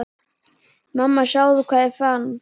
Mamma sjáðu hvað ég fann!